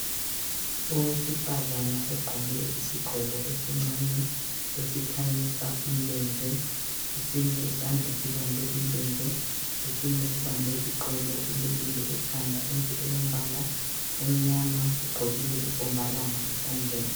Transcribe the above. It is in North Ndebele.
Owesifazana ogqoke isigqoko esincane esikhanyisa umlenze, esinye isandla sibambe umlenze esinye sibambe iqolo. Ulukile ekhanda into elombala omnyama ugqokile inkombalanga esandleni.